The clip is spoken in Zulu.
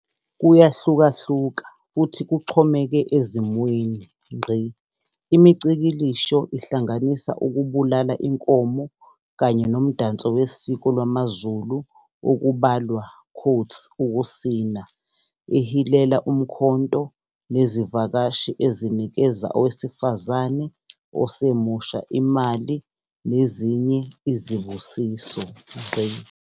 Kuyahlukahluka futhi kuxhomeke ezimweni. imicikilisho ihlanganisa ukubulala inkomo kanye nomdanso wesiko lwamaZulu okubalwa "ukusina" ehilela umkhonto nezivakashi ezinikeza owesifazane osemusha imali nezinye izibusiso.